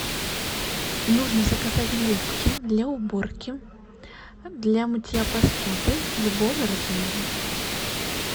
нужно заказать губки для уборки для мытья посуды любого размера